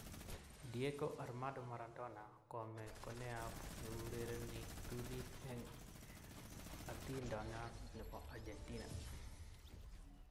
Diego Armando Maradona kome koneoap neurereni ptulit eng' atintoyon ne po Argentina.